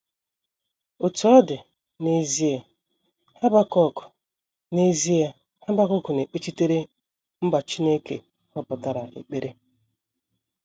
Otú ọ dị, n’ezie, Habakuk n’ezie, Habakuk na - ekpechitere mba Chineke họpụtara ekpere.